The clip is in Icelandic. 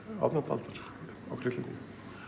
átjándu aldar okkar Íslendinga